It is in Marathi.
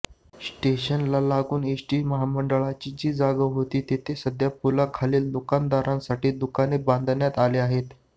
स्टेशनला लागून एसटी महामंडळाची जी जागा होती तिथे सध्या पुलाखालील दुकानदारांसाठी दुकाने बांधण्यात आली आहेत